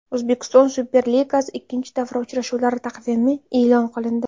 O‘zbekiston Superligasi ikkinchi davra uchrashuvlari taqvimi e’lon qilindi.